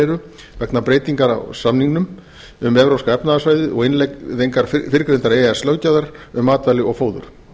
eru vegna breytinga á samningnum um evrópska efnahagssvæðið og innleiðingar fyrrgreindrar e e s löggjafar um matvæli og fóður